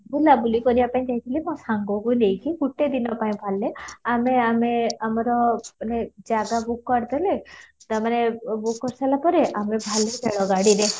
ବୁଲା ବୁଲି କରିବା ପାଇଁ ଯାଇଥିଲି ଗୋଟେ ସାଙ୍ଗକୁ ନେଇକି ଗୋଟେ ଦିନ ପାଇଁ ବାହାରିଲେ ଆମେ ଆମେ ଆମର ମାନେ ଜାଗା book କରିଦେଲେ ତାପରେ book କରି ସାରିଲା ପରେ ଆମେ ବାହାରିଲୁ ରେଳ ଗାଡ଼ିରେ